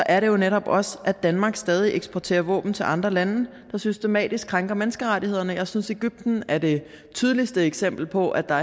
er det jo netop også at danmark stadig eksporterer våben til andre lande der systematisk krænker menneskerettighederne jeg synes at egypten er det tydeligste eksempel på at der